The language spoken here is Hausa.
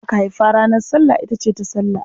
Wadda aka haifa ranar Sallah ita ce Tasallah.